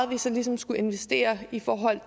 vi så ligesom skulle investere i forhold